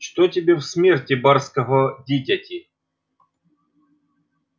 что тебе в смерти барского дитяти